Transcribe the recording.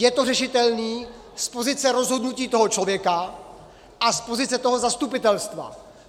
Je to řešitelné z pozice rozhodnutí toho člověka a z pozice toho zastupitelstva.